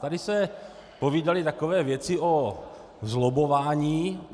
Tady se povídaly takové věci o zlobbování.